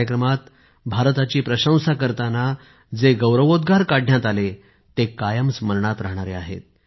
या कार्यक्रमात भारताची प्रशंसा करताना जे गौरवोद्गार काढण्यात आले ते कायम स्मरणात राहतील